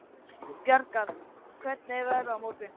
Bjargar, hvernig er veðrið á morgun?